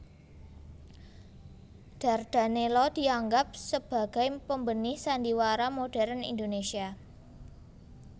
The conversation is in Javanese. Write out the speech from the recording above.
Dardanella dianggap sebagai pembenih sandiwara modern Indonesia